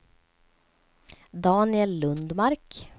Daniel Lundmark